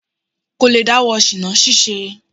Kò lè dáwọ́ ṣìná ṣíṣe.